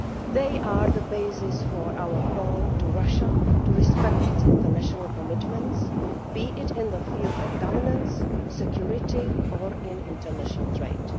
They are the basis for our call on Russia to respect its international commitments, be this in the field of governance, security or international trade.